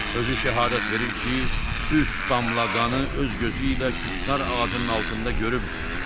Özü şəhadət verir ki, üç damla qanı öz gözü ilə küknar ağacının altında görübdür.